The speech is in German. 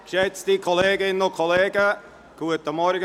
Geschätzte Kolleginnen und Kollegen, guten Morgen.